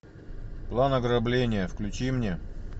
план ограбления включи мне